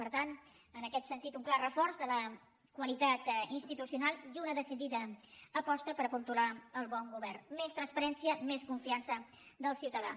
per tant en aquest sentit un clar reforç de la qualitat institucional i una decidida aposta per apuntalar el bon govern més transparència més confiança del ciutadà